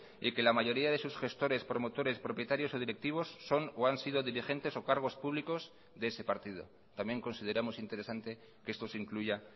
y que la mayoría de sus gestores promotores propietarios o directivos son o han sido dirigentes o cargos públicos de ese partido también consideramos interesante que esto se incluya